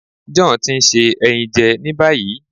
John ti n se ẹyin jẹ ni bayi